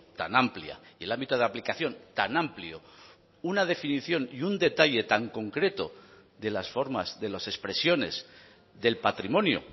tan amplia y el ámbito de aplicación tan amplio una definición y un detalle tan concreto de las formas de las expresiones del patrimonio